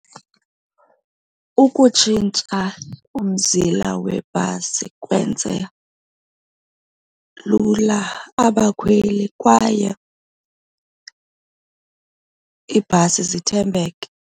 Ukutshintsha umzila webhasi kwenze lula abakhweli kwaye iibhasi zithembeke.